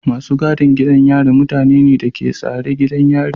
Masu gadin gidan yari mutane ne da ke tsare gidan yarin.